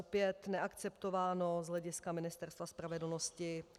Opět neakceptováno z hlediska Ministerstva spravedlnosti.